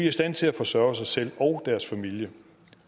i stand til at forsørge sig selv og deres familie